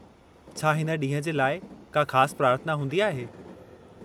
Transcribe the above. छा हिन ॾींह जे लाइ का ख़ासु प्रार्थना हूंदी आहे?